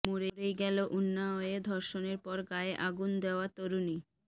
মরেই গেল উন্নাওয়ে ধর্ষণের পর গায়ে আগুন দেওয়া তরুণী